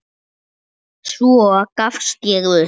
Svo gafst ég upp.